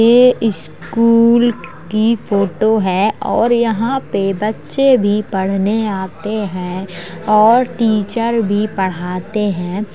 ये स्कूल की फोटो है और यहाँ पे बच्चे भी पढ़ने आते हैं और टीचर भी पढ़ाते हैं।